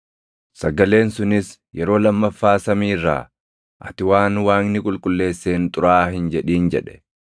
“Sagaleen sunis yeroo lammaffaa samii irraa, ‘Ati waan Waaqni qulqulleesseen xuraaʼaa hin jedhin’ jedhe.